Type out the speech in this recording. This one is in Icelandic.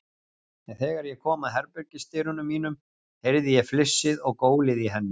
En þegar ég kom að herbergisdyrunum mínum, heyrði ég flissið og gólið í henni.